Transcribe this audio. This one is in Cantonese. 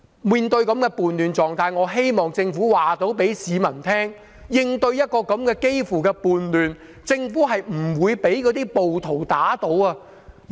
面對這種叛亂狀態，我希望政府能夠告訴市民，在應對幾乎屬叛亂的情況時，政府是不會被暴徒打倒的。